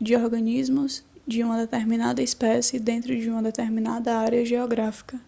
de organismos de uma determinada espécie dentro de uma determinada área geográfica